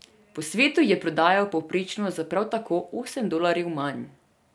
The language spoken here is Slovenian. Po svetu je prodajal povprečno za prav tako osem dolarjev manj.